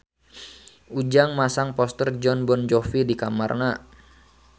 Ujang masang poster Jon Bon Jovi di kamarna